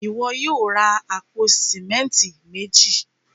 Ìwọ yóò ra awọn apò símẹ̀ntì méjì.